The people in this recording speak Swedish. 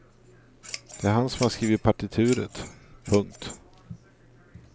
Det är han som har skrivit partituret. punkt